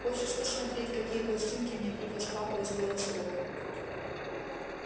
хочешь посмотреть какие пластинки мне привёз папа из белостока